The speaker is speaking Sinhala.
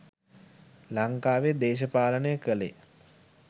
ලංකාවෙ දේශපාලනය කළේ